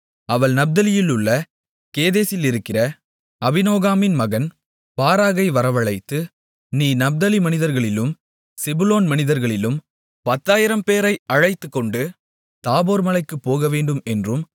அவள் நப்தலியிலுள்ள கேதேசிலிருக்கிற அபினோகாமின் மகன் பாராக்கை வரவழைத்து நீ நப்தலி மனிதர்களிலும் செபுலோன் மனிதர்களிலும் 10000 பேரை அழைத்துக்கொண்டு தாபோர் மலைக்குப் போகவேண்டும் என்றும்